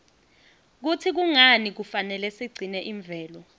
kutsi kungani kufanele sigcine imvelo